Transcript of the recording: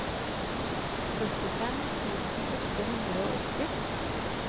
førtifem tusen åtte hundre og åtti